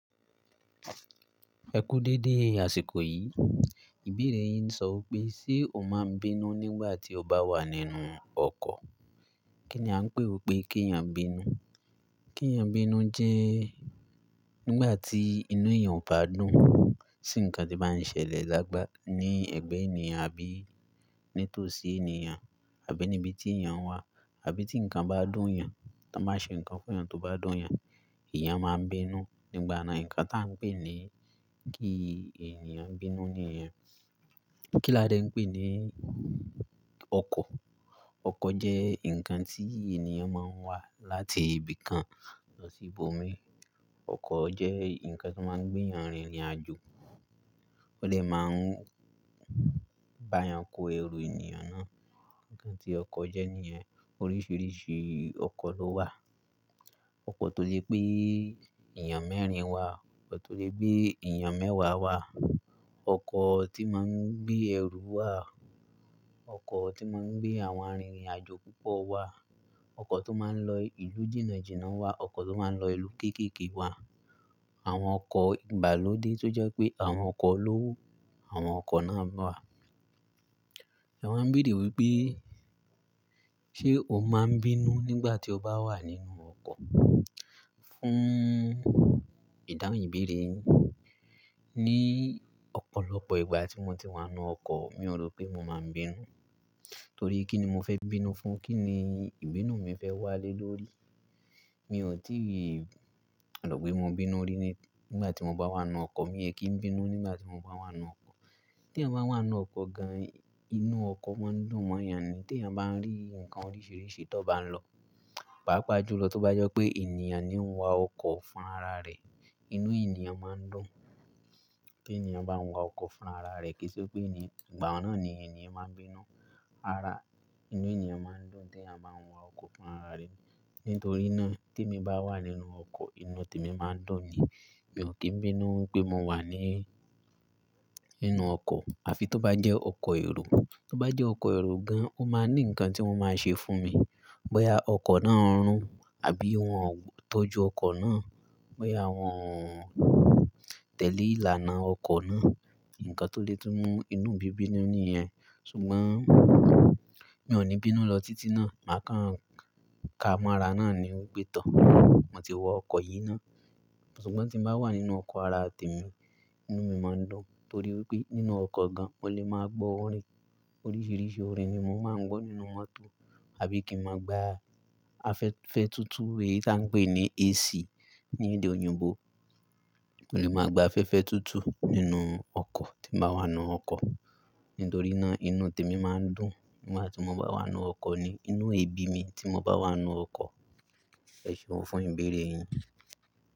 Ẹ kú dédé, àsìkò yìí, ìbéèrè yín sọ pé ṣe o máa ń bínú nígbà tí o bá wà nínú ọkọ̀? Kí ni a ń pè wipé kí ènìyàn bínú? Kí ènìyàn bínú jẹ́ nígbà tí inú ènìyàn kò bá dùn. Sí nǹkan tí bá ń ṣẹlẹ̀ lágbà ní ẹ̀gbẹ́ ènìyàn àbí nítòsí ènìyàn àbí níbi tí ènìyàn wà àbí tí nǹkan bá dùn ènìyàn, tan bá ṣe nǹkan fún ènìyàn tó bá dùn ènìyàn, ènìyàn máa ń bínú. Nígbà náà, nǹkan tí a ń pè ní kí ènìyàn bínú nìyẹn. Kíládẹ́ ń pè ní ọkọ̀. Ọkọ̀ jẹ́ nǹkan tí ènìyàn máa ń wá láti ibi kan lọ sí ibòmíràn. Ọkọ̀ jẹ́ nǹkan tí ó máa ń gbé ènìyàn rìnrìn àjò. Ó dè máa ń bá ènìyàn kó ẹrù ènìyàn náà. Nǹkan tí ọkọ̀ jẹ́ nìyẹn. Oríṣiríṣi ọkọ̀ ló wà. Ọkọ̀ tó lè gbé ènìyàn mẹ́rin wá, ọkọ̀ tó lè gbé ènìyàn mẹ́wàá wá, ọkọ̀ tí máa ń gbé ẹrù wá, ọkọ̀ tí máa ń gbé àwọn arìnrìn àjò púpọ̀ wá, ọkọ̀ tó máa ń lọ ìlú jìnà jìnà wá, ọkọ̀ tó máa ń lọ ìlú kéékèèké wá. Àwọn ọkọ̀ ìgbàlódé tó jẹ́ pé àwọn ọkọ̀ olówó. Àwọn ọkọ̀ náà wà. Ẹ wáa ń béèrè wípé ṣe o máa ń bínú nígbà tí o bá wà nínú ọkọ̀? Fún ìdáhùn ìbéèrè yín, ní ọ̀pọ̀lọpọ̀ ìgbà tí mo ti wà nínú ọkọ̀, mi ò rò pé mo máa ń bínú. Torí kí ni mo fẹ́ bínú fún? Kí ni ìbínú mi fẹ́ wá lé lórí? Mi ò tí rò pé mo bínú rí nígbà tí mo bá wà nínú ọkọ̀. Mi ò kí ń bínú nígbà tí mo bá wà nínú ọkọ̀. T'eeyan bá wà nínú ọkọ̀ gan, inú ọkọ̀ máa ń dùn mọ́ ènìyàn ni. T'eyan bá ń rí nǹkan oríṣiríṣi tó bá ń lọ, pàápàá jùlọ tó bá jẹ́ pé ènìyàn ni ó ń wa ọkọ̀ fún ara rẹ̀, inú ènìyàn máa ń dùn. Kí ènìyàn bá ń wa ọkọ̀ fún ara rẹ̀ kì í ṣe pé gbà ọ̀nà ni ènìyàn máa ń bínú. Ara inú ènìyàn máa ń dùn tí ènìyàn bá ń wa ọkọ̀ fún ara rẹ̀. Nítorí náà, tí mo bá wà nínú ọkọ̀, inú tèmi máa ń dùn ni. Mi ò kí ń bínú wípé mo wà nínú ọkọ̀ àbí tó bá jẹ́ ọkọ̀ èrò. Tó bá jẹ́ ọkọ̀ èrò gan, ó máa ní nǹkan tí wọ́n máa ṣe fún mi. Bóyá ọkọ̀ náà ń rùn àbí wọ́n ò tọ́jú ọkọ̀ náà, bóyá wọ́n tẹ̀lé ìlànà ọkọ̀ náà. Nǹkan tó lè tú mú inú mi bínú nìyẹn. Ṣùgbọ́n mi ò ní bínú lọ títí náà. Màá kàn ka mọ́ ara náà ni wípé tọ̀, mo ti wọ ọkọ̀ yìí ná. Ṣùgbọ́n tí mo bá wà nínú ọkọ̀ ara tèmi, inú mi máa ń dùn. Torí wípé nínú ọkọ̀ gan, mo lè máa gbọ́ orin. Oríṣiríṣi orin ni mo máa ń gbọ́ nínú mọ́tò àbí kí n máa gbá afẹ́fẹ́ túútúú èyí tí a ń pè ní AC ní èdè òyìnbó. Mo lè máa gbá afẹ́fẹ́ túútúú nínú ọkọ̀ tí mo bá wà nínú ọkọ̀. Nítorí náà, inú tèmi máa ń dùn nígbà tí mo bá wà nínú ọkọ̀ ni. Inú è bí mi tí mo bá wà nínú ọkọ̀. Ẹ ṣeun fún ìbéèrè yín.